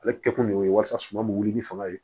Ale kɛ kun ye walasa suma bɛ wuli ni fanga ye